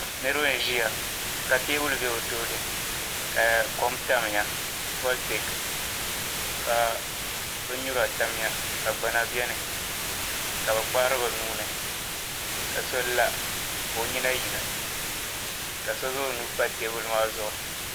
Niriba n-ʒiya ka teebuli be bɛ tooni ka kom tamya "voltic" ka bin'nura tamya ka gbana beni ka be kpahiri be nuu ni ka so la ka o nyina yina ka so zaŋ o nuu m-pa teebuli maa zuɣu.